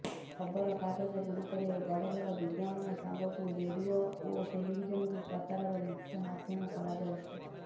ଖବର କାଗଜଗୁଡ଼ିକରେ ବଡ଼ବଡ଼ ବିଜ୍ଞାପନ ସାଙ୍ଗକୁ ରେଡିଓ ଓ ଟେଲିଭିଜନକୁ ପ୍ରଚାରର ପ୍ରମୁଖ ମାଧ୍ୟମ କରାଯାଉଛି